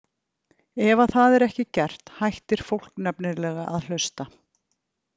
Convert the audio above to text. Ef það er ekki gert hættir fólk nefnilega að hlusta.